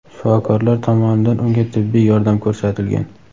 shifokorlar tomonidan unga tibbiy yordam ko‘rsatilgan.